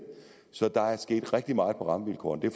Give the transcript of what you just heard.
så der er sket rigtig meget på rammevilkårene